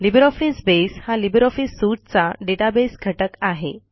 LibreOffice बसे हा LibreOffice suiteचा डेटाबेस घटक आहे